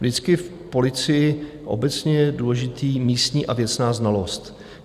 Vždycky v policii obecně je důležitá místní a věcná znalost.